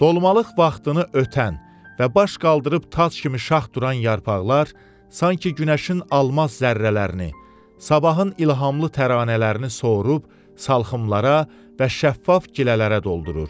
Dolmaq vaxtını ötən və baş qaldırıb tac kimi şax duran yarpaqlar sanki günəşin almaz zərrələrini, sabahın ilhamlı təranələrini sorub salxımlara və şəffaf gilələrə doldurur.